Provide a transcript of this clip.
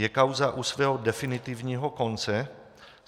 Je kauza u svého definitivního konce?